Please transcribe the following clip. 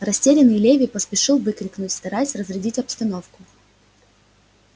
растерянный леви поспешил выкрикнуть стараясь разрядить обстановку